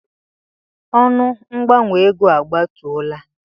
Ọnụ mgbanwe ego a gbatuola.